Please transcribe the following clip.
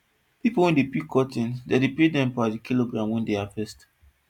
pipo wey dey pick cotton dem dey pay dem per the kilogram wey dey harvest